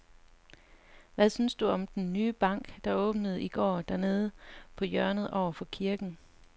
Hvad synes du om den nye bank, der åbnede i går dernede på hjørnet over for kirken?